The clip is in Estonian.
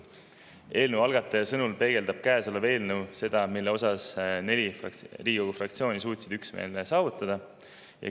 Eelnõu algataja sõnul peegeldab eelnõu seda, milles neli Riigikogu fraktsiooni suutsid üksmeele saavutada.